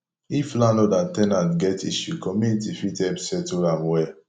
if landlord and ten ant get issue community fit help settle am well